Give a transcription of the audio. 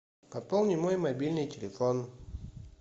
пополни мой мобильный телефон